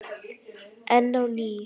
Enn á ný